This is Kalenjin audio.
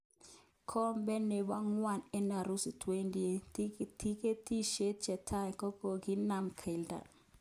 Kombe nebo ngwony en Urusi 2018:tiketishek chetai kokokinam kialda.